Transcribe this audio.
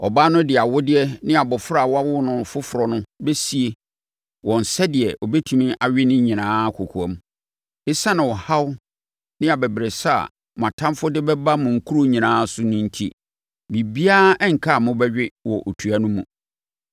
Ɔbaa no de awodeɛ ne abɔfra a wawo no foforɔ no bɛsie wɔn sɛdeɛ ɔbɛtumi awe ne nyinaa kɔkoam. Esiane ɔhaw ne abɛbrɛsɛ a mo atamfoɔ de bɛba mo nkuro nyinaa so no enti, biribiara renka a wɔbɛwe wɔ otua no mu.